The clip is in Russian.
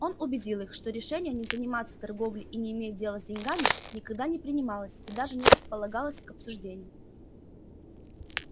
он убедил их что решение не заниматься торговлей и не иметь дело с деньгами никогда не принималось и даже не предполагалось к обсуждению